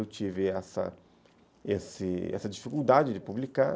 Eu tive esse, essa dificuldade de publicar,